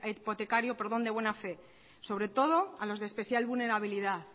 hipotecario de buen fe sobre todo a los de especial vulnerabilidad